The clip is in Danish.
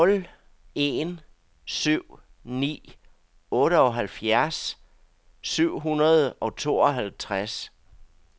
nul en syv ni otteoghalvfjerds syv hundrede og tooghalvtreds